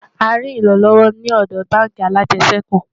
a rí ìran lówó ní òdò bánkì alàjesèkú